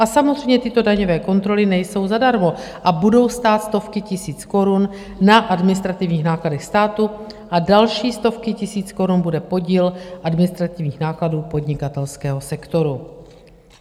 A samozřejmě, tyto daňové kontroly nejsou zadarmo a budou stát stovky tisíc korun na administrativních nákladech státu a další stovky tisíc korun bude podíl administrativních nákladů podnikatelského sektoru.